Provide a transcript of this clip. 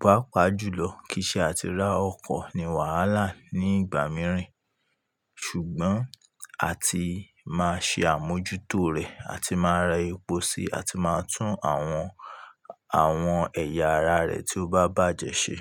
Pápa jùlọ kìí ṣe àti ra ọkọ̀ ni wàhálà ní ìgbà mìíràn, ṣùgbọ́n a ti máa ṣe àmójútó rẹ̀, a ti máa ra epo síi, a ti máa tún àwọn, àwọn ẹ̀yà ara rẹ̀ tí ó bá bàjẹ́ ṣe.